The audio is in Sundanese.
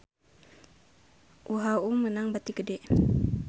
UHU meunang bati gede